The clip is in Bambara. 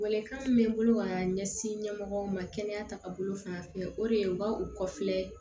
Welewelekan min bɛ n bolo ka ɲɛsin ɲɛmɔgɔw ma kɛnɛya taaga bolo fanfɛ o de ye u ka u kɔfilɛ